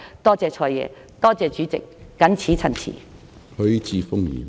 多謝"財爺"，多謝主席，謹此陳辭。